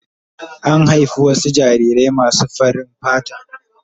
An haifi wasu jarirai masu farin fata.